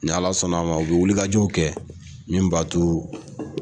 Ni Ala sɔnna a ma u bɛ wulikajow kɛ min b'a to